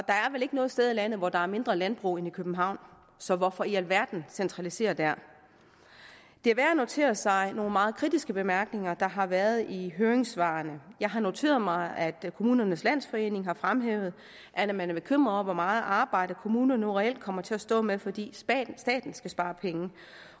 ikke noget sted i landet hvor der er mindre landbrug end i københavn så hvorfor i alverden centralisere der det er værd at notere sig nogle meget kritiske bemærkninger der har været i høringssvarene jeg har noteret mig at kommunernes landsforening har fremhævet at man er bekymret over hvor meget arbejde kommunerne nu reelt kommer til at stå med fordi staten skal spare penge